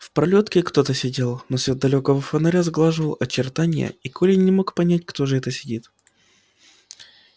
в пролётке кто-то сидел но свет далёкого фонаря сглаживал очертания и коля не мог понять кто же это сидит